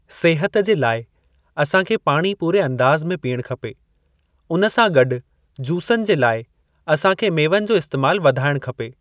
सिहत जे लाइ असां खे पाणी पूरे अंदाज़ में पीअणु खपे उन सां गॾु जूसनि जे लाइ असां खे मेवनि जो इस्तेमाल वधाइणु खपे।